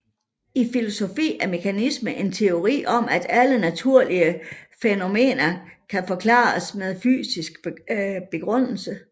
I filosofi er mekanisme en teori om at alle naturlige fænomener kan forklares med fysiske begrundelser